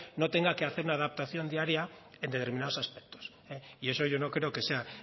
no tenga que hacer una adaptación diaria en determinados aspectos y eso yo no creo que sea